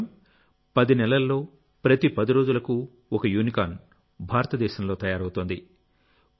కేవలం 10 నెలల్లోప్రతి 10 రోజులకు ఒక యూనికార్న్ భారతదేశంలో తయారవుతోంది